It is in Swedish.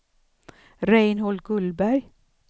Reinhold Gullberg